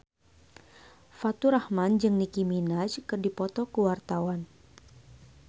Faturrahman jeung Nicky Minaj keur dipoto ku wartawan